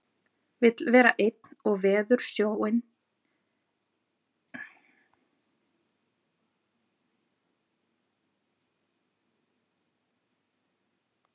Vill vera einn og veður snjóinn, þæfingsfærð